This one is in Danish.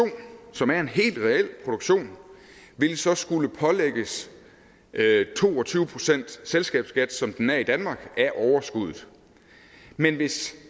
som er en helt reel produktion vil så skulle pålægges to og tyve procent selskabsskat som den er i danmark af overskuddet men hvis